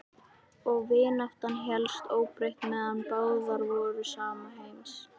Og vináttan hélst óbreytt meðan báðar voru sama heims.